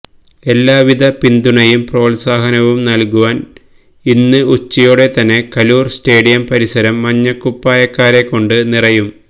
എല്ലാ വിധ പിന്തുണയും പ്രോത്സാഹനവും നല്കുവാന് ഇന്ന് ഉച്ചയോടെ തന്നെ കലൂര് സ്റ്റേഡിയം പരിസരം മഞ്ഞക്കുപ്പായക്കാരെ കൊണ്ട് നിറയും